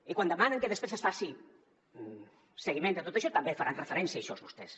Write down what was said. i quan demanen que després es faci seguiment de tot això també faran referència a això vostès